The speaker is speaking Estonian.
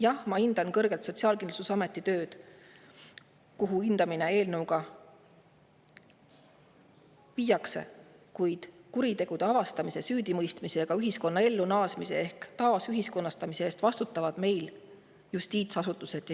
Jah, ma hindan kõrgelt Sotsiaalkindlustusameti tööd, see hindamine viiakse, kuid kuritegude avastamise, süüdimõistmise ja ühiskonnaellu naasmise ehk taasühiskonnastamise eest vastutavad meil justiitsasutused.